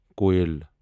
کویَل